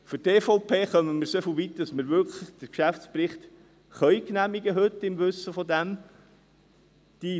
Für die EVP kommen wir so weit, dass wir den Geschäftsbericht heute wirklich im Wissen darum genehmigen können.